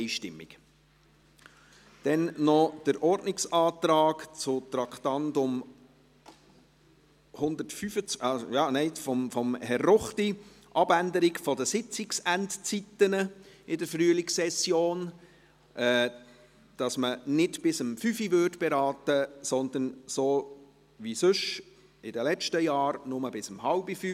Wir kommen noch zu einem Ordnungsantrag von Herrn Ruchti auf Abänderung der Zeit der Sitzungsenden in der Frühlingssession, dass man nicht bis 17 Uhr beraten würde, sondern, wie bisher in den vergangenen Jahren, nur bis 16.30 Uhr.